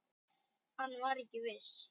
Hann var ekki viss.